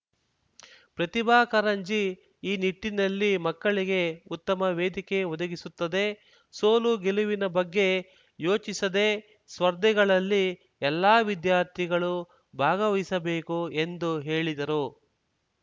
ಪ್ರತಿಭಾ ಕಾರಂಜಿ ಈ ನಿಟ್ಟಿನಲ್ಲಿ ಮಕ್ಕಳಿಗೆ ಉತ್ತಮ ವೇದಿಕೆ ಒದಗಿಸುತ್ತದೆ ಸೋಲು ಗೆಲುವಿನ ಬಗ್ಗೆ ಯೋಚಿಸದೆ ಸ್ಪರ್ಧೆಗಳಲ್ಲಿ ಎಲ್ಲಾ ವಿದ್ಯಾರ್ಥಿಗಳು ಭಾಗವಹಿಸಬೇಕು ಎಂದು ಹೇಳಿದರು